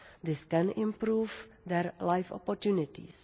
This can improve their life opportunities.